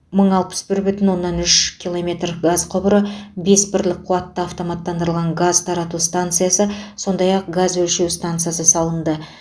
мың алпыс бір бүтін оннан үш километр газ құбыры бес бірлік қуатты автоматтандырылған газ тарату станциясы сондай ақ газ өлшеу стансасы салынды